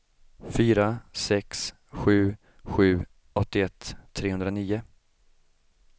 fyra sex sju sju åttioett trehundranio